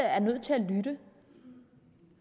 er nødt til at lytte